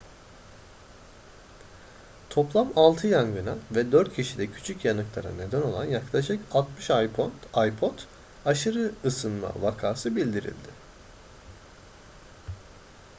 toplam altı yangına ve dört kişide küçük yanıklara neden olan yaklaşık 60 ipod aşırı ısınma vakası bildirildi